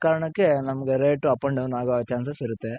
ಆ ಕಾರಣಕ್ಕೆ ನಮ್ಗೆ Rate up and Down ಆಗೋ Chances ಇರುತ್ತೆ.